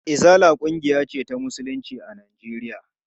Izala ƙungiya ce ta musulunci a Najeriya.